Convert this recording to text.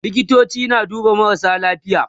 likitoci na duba marasa lafiya